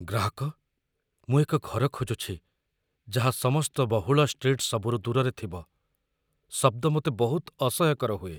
ଗ୍ରାହକ "ମୁଁ ଏକ ଘର ଖୋଜୁଛି ଯାହା ସମସ୍ତ ବହୁଳ ଷ୍ଟ୍ରୀଟ୍‌ସବୁରୁ ଦୂରରେ ଥିବ ଶବ୍ଦ ମୋତେ ବହୁତ ଅସହ୍ୟକର ହୁଏ।"